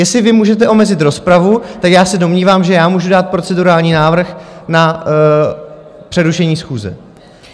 Jestli vy můžete omezit rozpravu, tak já se domnívám, že já můžu dát procedurální návrh na přerušení schůze.